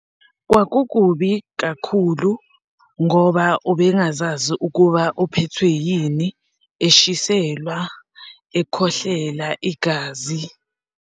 Kwakukubi kakhulu ngoba ubengazazi ukuba uphethwe yini, eshiselwa, ekhohlelwa igazi.